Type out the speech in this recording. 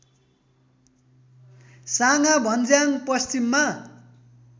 साँगा भञ्ज्याङ पश्चिममा